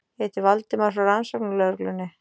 Ég heiti Valdimar, frá Rannsóknarlögreglunni.